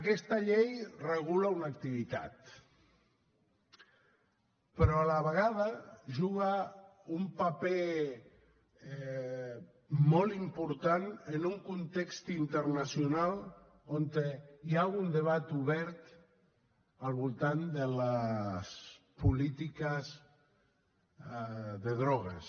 aquesta llei regula una activitat però a la vegada juga un paper molt important en un context internacional on hi ha un debat obert al voltant de les polítiques de drogues